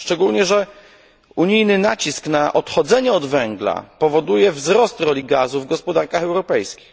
Szczególnie że unijny nacisk na odchodzenie od węgla powoduje wzrost roli gazu w gospodarkach europejskich.